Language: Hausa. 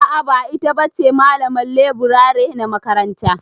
A'a ba ita ba che malaman leburare na makaranta.